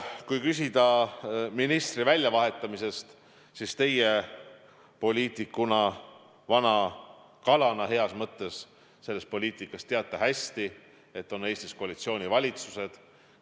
Kui küsida ministri väljavahetamise kohta, siis teie poliitikuna, vana kalana heas mõttes selles poliitikas teate hästi, et Eestis on koalitsioonivalitsused.